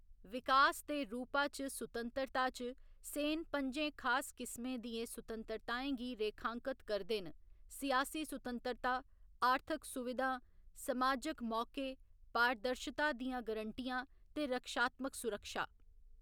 विकास दे रूपा च सुतंतरता च, सेन पं'जें खास किसमें दियें सुतंतरताएं गी रेखांकत करदे न, सियासी सुतंतरता, आर्थिक सुविधां, समाजक मौके, पारदर्शता दियां गरंटियां ते रक्षात्मक सुरक्षा।